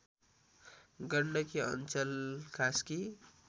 Gandaki Anchal Kaski